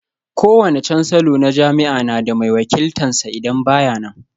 Kowane cansalo na jami'a na da mai wakiltan sa idan ba ya nan